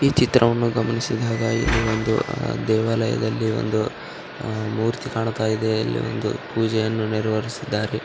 ಈ ಚಿತ್ರವನ್ನು ಗಮನಿಸಿದಾಗ ಈ ವೊಂದು ದೇವಾಲಯದಲ್ಲಿ ಒಂದು ಮೂರ್ತಿ ಕಾಣ್ತಾಯಿದೆ ಇಲ್ಲಿ ಒಂದು ಪೂಜೆಯನ್ನು ನೆರೆವೇರಿಸಿದ್ದಾರೆ .